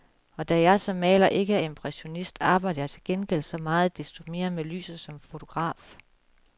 Og da jeg som maler ikke er impressionist, arbejder jeg til gengæld så meget desto mere med lyset som fotograf.